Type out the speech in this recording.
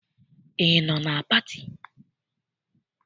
Ị nọ na pati?